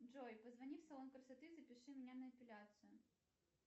джой позвони в салон красоты и запиши меня на эпиляцию